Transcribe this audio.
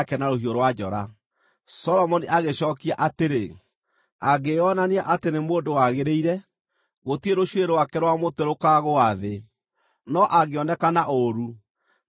Solomoni agĩcookia atĩrĩ, “Angĩona atĩ nĩ mũndũ wagĩrĩire, gũtirĩ rũcuĩrĩ rwake rwa mũtwe rũkaagũa thĩ; no angĩoneka na ũũru no agaakua.”